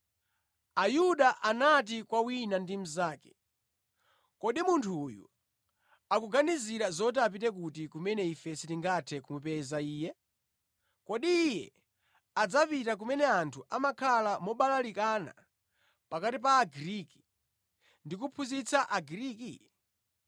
Ayuda anati kwa wina ndi mnzake, “Kodi munthu uyu akuganizira zoti apite kuti kumene ife sitingathe kumupeza Iye? Kodi Iye adzapita kumene anthu amakhala mobalalikana pakati pa Agriki, ndi kuphunzitsa Agriki?